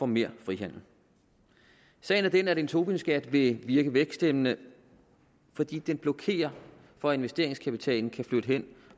mere frihandel sagen er den at en tobinskat vil virke væksthæmmende fordi den blokerer for at investeringskapitalen kan flytte hen